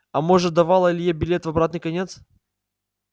а может давала илье билет в обратный конец